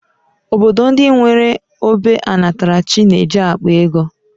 Obodo ndị nwere ógbè ọnatarachi na-eji akpa ego